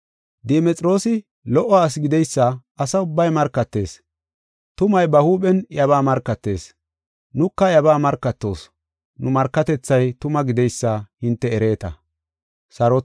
Dimexroosi lo77o asi gideysa asa ubbay markatees. Tumay ba huuphen iyabaa markatees; nuka iyabaa markatoos; nu markatethay tuma gideysa hinte ereeta.